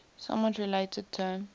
somewhat related term